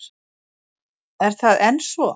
Er það enn svo?